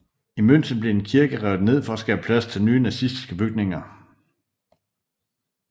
I München blev en kirke revet ned for at skabe plads til nye nazistiske bygninger